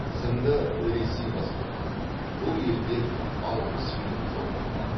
тізімді ресей бастап тұр бұл елден алпыс фильм жолданған